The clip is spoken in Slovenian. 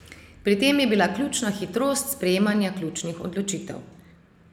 Pri tem je bila ključna hitrost sprejemanja ključnih odločitev.